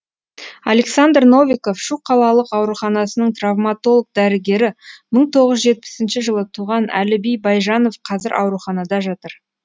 александр новиков шу қалалық ауруханасының травматолог дәрігері мың тоғыз жүз жетпісінші жылы туған әліби байжанов қазір ауруханада жатыр